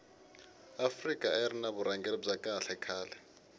afika ayiri ni vurhangeri bya kahle khale